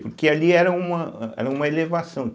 Porque ali era uma era uma elevação.